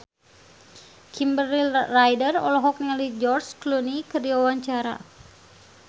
Kimberly Ryder olohok ningali George Clooney keur diwawancara